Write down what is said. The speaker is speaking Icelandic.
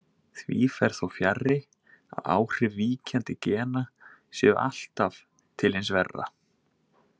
Því fer þó fjarri að áhrif víkjandi gena séu alltaf til hins verra.